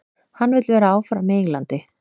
Hann vill vera áfram á Englandi.